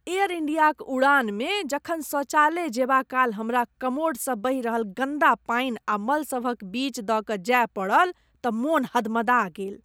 Air इण्डियाक उड़ानमे जखन शौचालय जेबाकाल हमरा कमोडसँ बहि रहल गन्दा पानि आ मल सभक बीच दऽ कऽ जाय पड़ल तँ मोन हदमदा गेल।